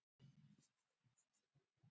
Hvaða vit er í þessu?